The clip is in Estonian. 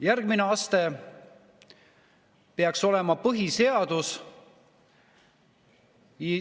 Järgmine aste peaks olema põhiseadus.